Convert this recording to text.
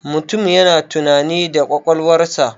Mutum yana tunani da ƙwaƙwalwarsa.